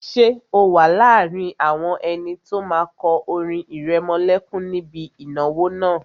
Ṣé o wà láàrin àwọn ẹni tó máa kọ orin ìrẹmọlẹ́kún níbi ìnáwó náà?